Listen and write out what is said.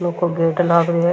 लौह को गेट लाग रहियो है।